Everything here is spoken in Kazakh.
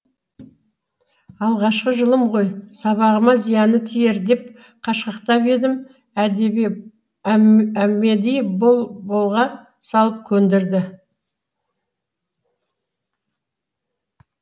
алғашқы жылым ғой сабағыма зияны тиер деп қашқақтап едім әмеди бол болға салып көндірді